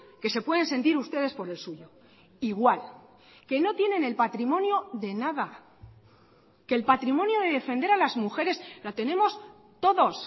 que se pueden sentir ustedes por el suyo igual que no tienen el patrimonio de nada que el patrimonio de defender a las mujeres la tenemos todos